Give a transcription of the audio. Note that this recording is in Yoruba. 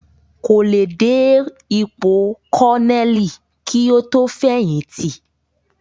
Kò le dé ipò kọ́nẹ̀lì kí ó tó fẹ̀yìntì